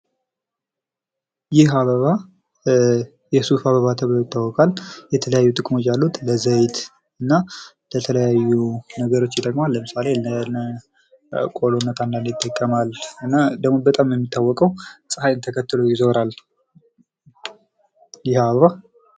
ይህ አበባ የሱፍ አበባ ተብሎ ይታወቃል። የተለያዩ ጥቅሞች አሉት ለዘይት እና ለተለያዩ ነገሮች ይጠቅማል። ለምሳሌ ለቆሎነት ይጠቅማል እና በጣም የሚታወቀው ጸሐይን ተከትሎ ይዞራል ይህ አበባ።